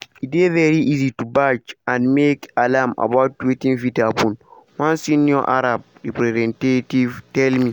“e dey very easy to bash and make alarm about wetin fit happun” one senior arab representative tell me.